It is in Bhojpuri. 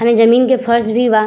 जमीन के फर्श भी बा।